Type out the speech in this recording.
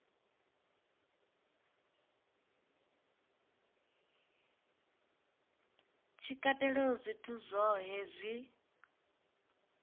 tshi katelaho zwithu zwohe zwi